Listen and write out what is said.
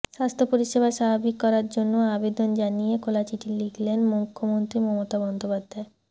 স্বাস্থ্য পরিষেবা স্বাভাবিক করার জন্য আবেদন জানিয়ে খোলা চিঠি লিখলেন মুখ্যমন্ত্রী মমতা বন্দ্যোপাধ্যায়